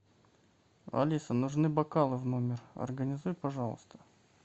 алиса нужны бокалы в номер организуй пожалуйста